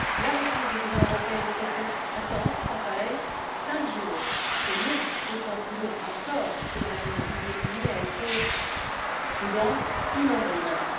La réponse de l'Union européenne s'est fait attendre, quant à elle. Cinq jours. C'est long, d'autant plus long encore que Mme Mogherini a été prudente, timorée même.